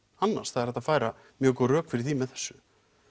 annars það er hægt að færa mjög góð rök fyrir því með þessu